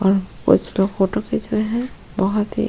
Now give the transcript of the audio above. और कुछ लोग फोटो खीच रहे है बहुत ही --